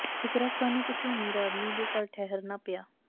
ਇੱਕ ਰਾਤ ਸਾਨੂੰ ਕਿਸੇ ਅਮੀਰ ਆਦਮੀ ਦੇ ਘਰ ਠਹਿਰਨਾ ਪਿਆ